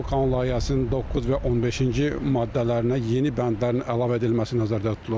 Bu qanun layihəsinin doqquz və 15-ci maddələrinə yeni bəndlərin əlavə edilməsi nəzərdə tutulur.